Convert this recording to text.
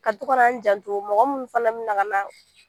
Ka to ka na n janto mɔgɔ minnu fana bɛ na ka na